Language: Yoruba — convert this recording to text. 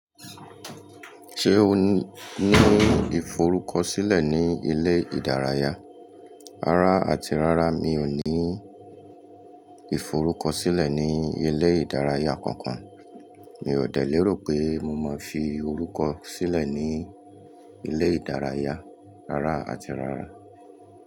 Ṣé o ní ìforúkọ sílẹ̀ ní ilé ìdárayá? Rárá àti rárá, mi ò ní ìforúkọ sílẹ̀ ní ilé ìdárayá kankan. Mi ò de lérò pé mo máa fi orúkọ sílẹ̀ ní ilé ìdárayá, rárá àti rárá.